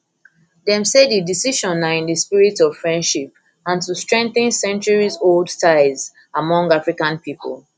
dem say di decision na in di spirit of friendship and to strengthen centuriesold ties among african people